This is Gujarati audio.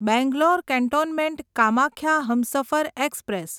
Bangalore cantonment Kamakhya Humsafar express